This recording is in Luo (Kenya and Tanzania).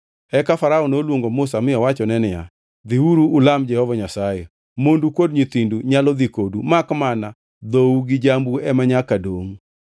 Eka Farao noluongo Musa mi owachone niya, “Dhiuru, ulam Jehova Nyasaye. Mondu kod nyithindu nyalo dhi kodu; makmana dhou gi jambu ema nyaka dongʼ.”